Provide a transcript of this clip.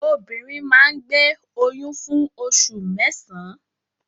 Obìnrin máa ń gbé oyún fún oṣù mẹ́sàn-án.